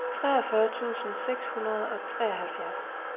treogfyrre tusind seks hundrede og treoghalvfjerds